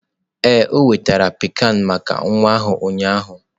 Ee, ọ nwetara pikan maka nwa ahụ ụnyaahụ.